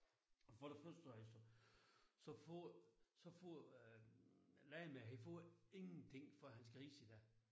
For det første så altså så får så får øh landmanden han får ingenting for hans grise i dag